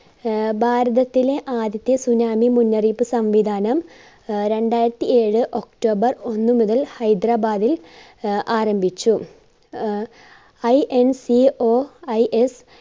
ആഹ് ഭാരതത്തിലെ ആദ്യത്തെ tsunami മുന്നറിയിപ്പ് സംവിധാനം ആഹ് രണ്ടായിരത്തിഏഴ് october ഒന്ന് മുതൽ ഹൈദരാബാദിൽ ആഹ് ആരംഭിച്ചു അഹ് INCOIS